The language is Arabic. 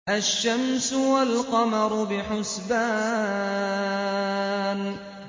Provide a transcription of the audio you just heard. الشَّمْسُ وَالْقَمَرُ بِحُسْبَانٍ